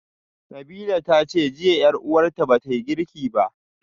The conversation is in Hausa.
Nabilah tace jiya yar uwarta bata girki ba